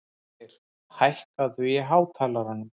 Álfgeir, hækkaðu í hátalaranum.